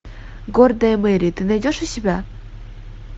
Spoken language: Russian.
гордая мэри ты найдешь у себя